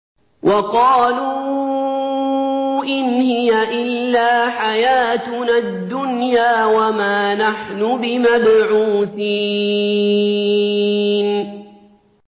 وَقَالُوا إِنْ هِيَ إِلَّا حَيَاتُنَا الدُّنْيَا وَمَا نَحْنُ بِمَبْعُوثِينَ